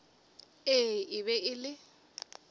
ee e be e le